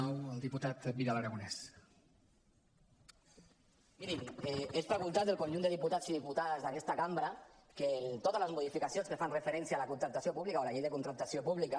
mirin és facultat del conjunt de diputats i diputades d’aquesta cambra que totes les modificacions que fan referència a la contractació púbica o a la llei de contractació pública